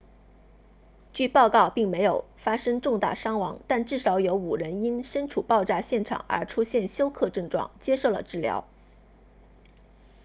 据报告并没有发生重大伤亡但至少有5人因身处爆炸现场而出现休克症状接受了治疗